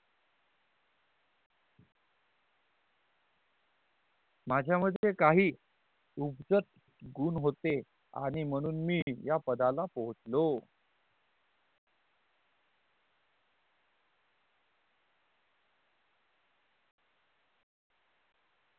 माझ्या मधे काही उगजत गुण होते आणि महाणून मी या पदाला पाहुचलों